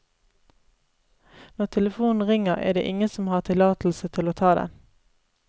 Når telefonen ringer, er det ingen som har tillatelse til å ta den.